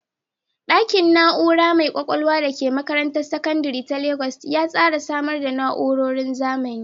Ɗakin na’ura mai ƙwaƙwalwa da ke makarantar sakandare ta Legas ya tsara samar da na’urorin zamani